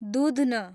दूध्न